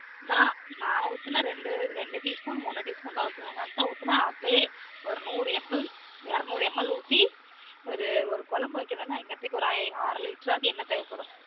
நான் ஊத்துனா ரெண்டு teaspoon மூனு teaspoon தான் ஊத்துவன் நூறு ml இரனூரு ml ஊத்தி ஒரு குழம்பு வைக்கனும்ணா எங்க அத்தைக்கு அரை litre ஆது எண்ணெய் தேவைப்படும்